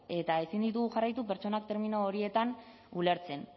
eta ezin ditugu jarraitu pertsona termino horietan ulertzen